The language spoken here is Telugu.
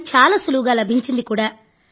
అది చాలా సులువుగా లభించింది కూడా